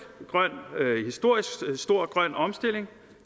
stor grøn omstilling